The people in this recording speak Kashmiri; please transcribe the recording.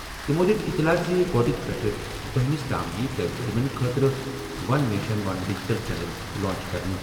تِمَو دِیُت اطلاع زِ گۄڈٕنِکہِ پٮ۪ٹھٕ بَہَس تام یِیہِ طالبہِ علمَن خٲطرٕ one nation one digital channel launch کرنہٕ۔